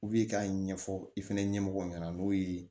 k'a ɲɛfɔ i fɛnɛ ɲɛmɔgɔ ɲɛna n'o ye